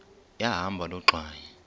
yahamba loo ngxwayi